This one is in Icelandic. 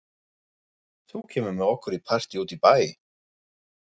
Þú kemur með okkur í partí út í bæ.